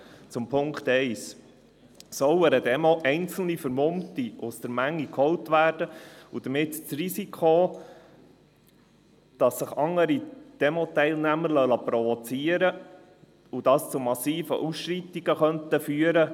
Zum Punkt 1: Sollen an einer Demonstration einzelne Vermummte aus der Menge geholt werden und damit riskiert werden, dass sich andere Teilnehmer provozieren lassen, was zu massiven Ausschreitungen führen könnte?